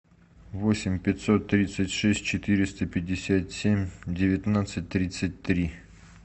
восемь пятьсот тридцать шесть четыреста пятьдесят семь девятнадцать тридцать три